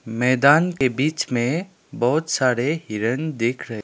मैदान के बीच में बहुत सारे हिरण दिख रहे --